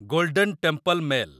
golden temple mail